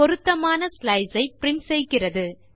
பொருத்தமான ஸ்லைஸ் ஐ பிரின்ட் செய்கிறது